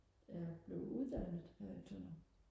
jeg blev uddannet her i Tønder